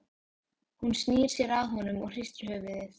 Hún snýr sér að honum og hristir höfuðið.